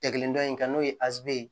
Tɛgɛ kelen dɔ in kan'o ye aze